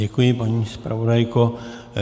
Děkuji, paní zpravodajko.